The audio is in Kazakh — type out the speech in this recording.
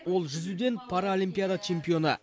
ол жүзуден паралимпиада чемпионы